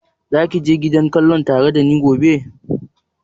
Za ka je gidan kallon tare da ni gobe?